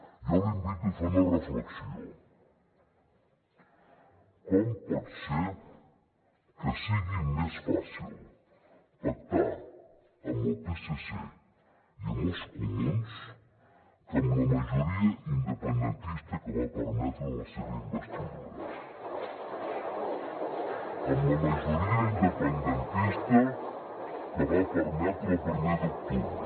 jo l’invito a fer una reflexió com pot ser que sigui més fàcil pactar amb el psc i amb els comuns que amb la majoria independentista que va permetre la seva investidura amb la majoria independentista que va permetre el primer d’octubre